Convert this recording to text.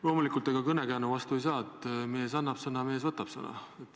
Loomulikult, ega vanasõna vastu ei saa: "Mees annab sõna, mees võtab sõna.